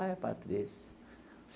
Ah, é Patrícia.